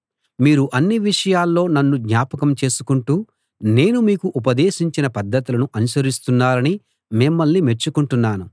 మీరు అన్ని విషయాల్లో నన్ను జ్ఞాపకం చేసుకుంటూ నేను మీకు ఉపదేశించిన పద్ధతులను అనుసరిస్తున్నారని మిమ్మల్ని మెచ్చుకొంటున్నాను